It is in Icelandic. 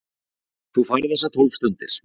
Þú færð þessar tólf stundir.